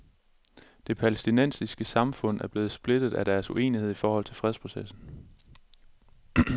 Det palæstinensiske samfund er blevet splittet af deres uenighed i forholdet til fredsprocessen.